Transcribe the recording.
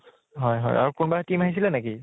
হয় হয় । আৰু কোনোবা team আহিছিলে নেকি ?